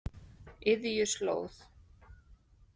Iðjuslóð